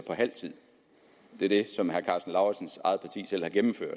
af tiden det er det som herre karsten lauritzens eget parti selv har gennemført